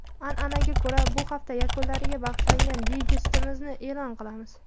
An’anaga ko‘ra, bu hafta yakunlariga bag‘ishlangan dayjestimizni e’lon qilamiz.